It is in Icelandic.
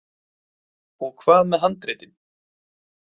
Og hvað með handritin?